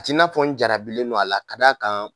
A t'i n'a fɔ n jarabilen don a la ka d' a kan